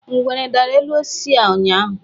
Ngwere dara elu osisi a ụnyaahụ.